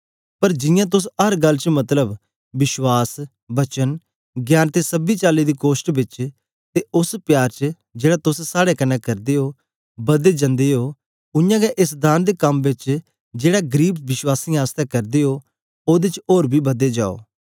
पर जियां तोस अर गल्ल च मतलब विश्वास वचन ज्ञान ते सबी चाली दी कोष्ट बेच ते ओस प्यार च जेड़ा तोस साड़े कन्ने करदे ओ बददे जंदे ओ उयांगै एस दान दे कम बेच जेड़ा गरीब विश्वासियें आसतै करदे ओ ओदे च ओर बी बददे जाओ